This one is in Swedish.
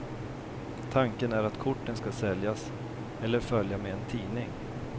Tanken är att korten skall säljas eller följa med en tidning.